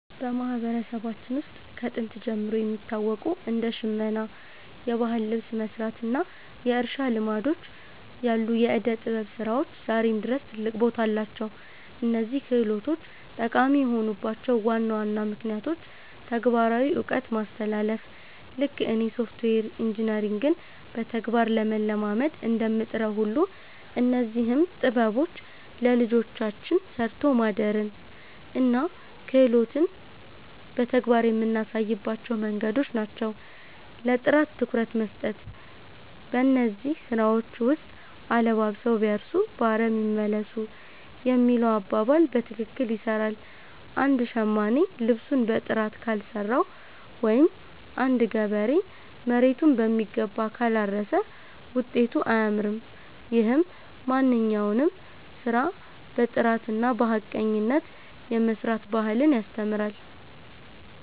በማህበረሰባችን ውስጥ ከጥንት ጀምሮ የሚታወቁ እንደ ሽመና (የባህል ልብስ መስራት) እና የእርሻ ልማዶች ያሉ የዕደ-ጥበብ ስራዎች ዛሬም ድረስ ትልቅ ቦታ አላቸው። እነዚህ ክህሎቶች ጠቃሚ የሆኑባቸው ዋና ዋና ምክንያቶች ተግባራዊ እውቀት ማስተላለፍ፦ ልክ እኔ ሶፍትዌር ኢንጂነሪንግን በተግባር ለመለማመድ እንደምጥረው ሁሉ፣ እነዚህም ጥበቦች ለልጆቻችን 'ሰርቶ ማደርን' እና 'ክህሎትን' በተግባር የምናሳይባቸው መንገዶች ናቸው። ለጥራት ትኩረት መስጠት፦ በእነዚህ ስራዎች ውስጥ 'አለባብሰው ቢያርሱ በአረም ይመለሱ' የሚለው አባባል በትክክል ይሰራል። አንድ ሸማኔ ልብሱን በጥራት ካልሰራው ወይም አንድ ገበሬ መሬቱን በሚገባ ካላረሰ ውጤቱ አያምርም። ይህም ማንኛውንም ስራ በጥራትና በሐቀኝነት የመስራት ባህልን ያስተምራል።